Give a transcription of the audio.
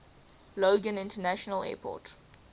logan international airport